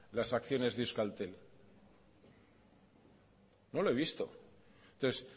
las acciones de euskaltel no lo he visto entonces